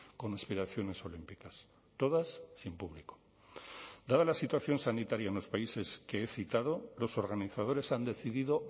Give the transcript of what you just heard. con aspiraciones olímpicas todas sin público dada la situación sanitaria en los países que he citado los organizadores han decidido